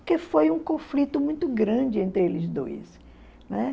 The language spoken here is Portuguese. Porque foi um conflito muito grande entre eles dois, né?